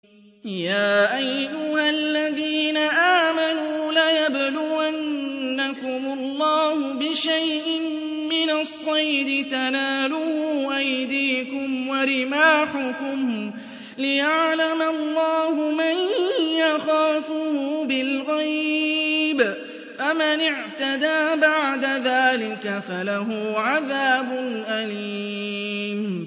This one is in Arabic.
يَا أَيُّهَا الَّذِينَ آمَنُوا لَيَبْلُوَنَّكُمُ اللَّهُ بِشَيْءٍ مِّنَ الصَّيْدِ تَنَالُهُ أَيْدِيكُمْ وَرِمَاحُكُمْ لِيَعْلَمَ اللَّهُ مَن يَخَافُهُ بِالْغَيْبِ ۚ فَمَنِ اعْتَدَىٰ بَعْدَ ذَٰلِكَ فَلَهُ عَذَابٌ أَلِيمٌ